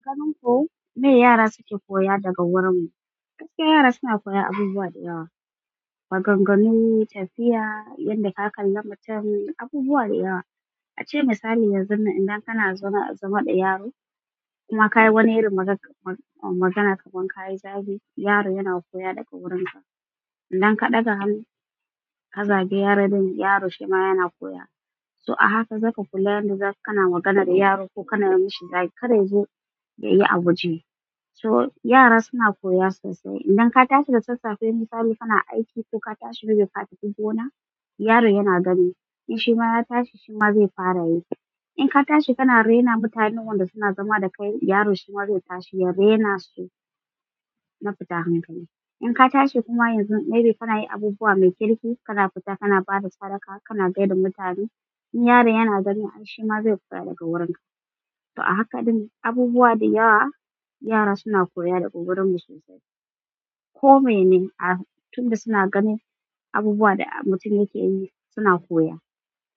Aganinku me yara suke koya daga wurin mu? Gaskiys yara suna koya abubuwa da yawa, maganganu, tafiya, yanda aƙalla mutum abubuwa da yawa. A ce misali yanzu ne idan kana zama da yaro kuma ka yi wani irin magana kaman ka yi zagi, yaro yana koya daga wurinka. Idan ka ɗaga hannu ka zagi yaro ɗin, yaro shi ma yana koya. So a haka zaka kula yadda zaka kana magana da yaro ko kana yi mashi zagi, kada ya zo ya yi a waje. So yara suna koya sosai. Idan ka tashi da sassafe misali kana aiki ko ka tashi rufe katafi gona, yaro yana gani in shi ma ya tashi shi ma zai fara yi. In ka tashi kana raina mutanen wanda suna zama da kai, yaro shi ma zai tashi ya raina su na fita hankali. In ka tashi kuma yanzu maybe kana yi abubuwa mai kirki, kana fita kana bada sadaka, kana gaida mutane, in yaro yana gani ai shi ma zai koya daga wurinka. To a haka ɗin abubuwa da yawa yara suna koya daga wurin mu sosai. Ko me ne, a tunda suna ganin abubuwa da mutum yake yi suna koya.